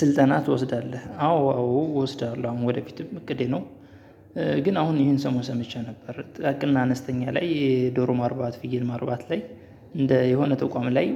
ስልጠና ትወስዳለህ? አዎ አዎ እወስዳለሁ አሁን ወደፊትም እቅዴ ነው። ግን አሁን ይሄን ሰሞን ሰምቼ ነበር። ጥቃቅና አነስተኛ ላይ የዶሮ ማርባት ፍየል ማርባት ላይ እንደ የሆነ ተቋም ላይ